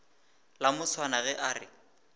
la moswana ge a re